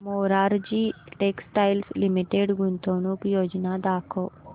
Morarji textiles limited गुंतवणूक योजना दाखव